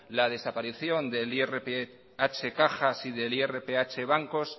la desaparición del irph caja y del irph bancos